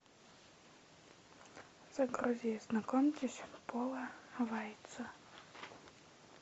загрузи знакомьтесь пола вайца